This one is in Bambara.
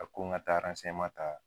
A ko n ka taa ta